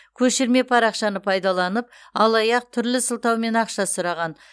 көшірме парақшаны пайдаланып алаяқ түрлі сылтаумен ақша сұраған